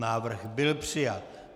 Návrh byl přijat.